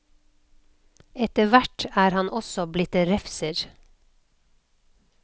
Etter hvert er han også blitt refser.